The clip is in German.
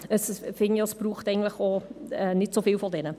Ich finde, es braucht auch nicht so viele von diesen.